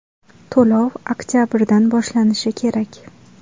To‘lov oktabrdan boshlanishi kerak.